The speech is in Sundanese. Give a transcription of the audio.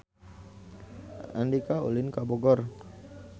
Andika ulin ka Bogor